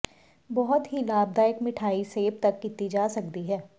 ਬਹੁਤ ਹੀ ਲਾਭਦਾਇਕ ਮਠਿਆਈ ਸੇਬ ਤੱਕ ਕੀਤੀ ਜਾ ਸਕਦੀ ਹੈ